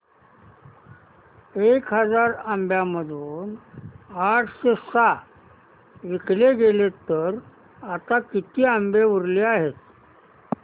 एक हजार आंब्यांमधून आठशे सहा विकले गेले तर आता किती आंबे उरले आहेत